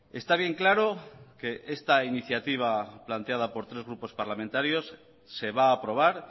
está bien claro que esta iniciativa planteada por tres grupos parlamentarios se va a aprobar